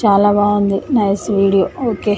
చాలా బాగుంది nice video okay .